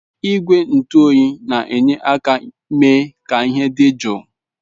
Igwe njụ oyi na-enye aka mee ka ihe dị jụụ.